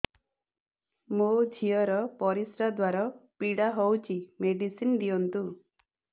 ମୋ ଝିଅ ର ପରିସ୍ରା ଦ୍ଵାର ପୀଡା ହଉଚି ମେଡିସିନ ଦିଅନ୍ତୁ